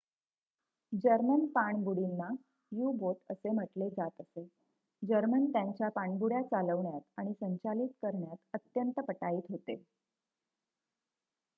German पाणबुडींना U-boat असे म्हटले जात असे जर्मन त्यांच्या पाणबुड्या चालवण्यात आणि संचालित करण्यात अत्यंत पटाईत होते